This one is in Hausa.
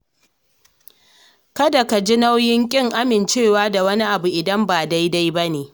Kada ka ji nauyin ƙin amincewa da wani abu idan ba daidai ba ne.